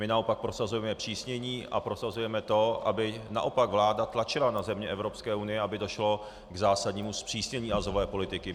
My naopak prosazujeme zpřísnění a prosazujeme to, aby naopak vláda tlačila na země Evropské unie, aby došlo k zásadnímu zpřísnění azylové politiky.